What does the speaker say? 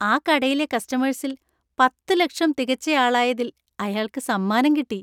ആ കടയിലെ കസ്റ്റമേഴ്സില്‍ പത്തുലക്ഷം തികച്ചയാളായതില്‍ അയാള്‍ക്ക് സമ്മാനം കിട്ടി.